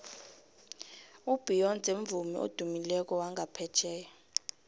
ubeyonce mvumi odumileko wanga phetjheya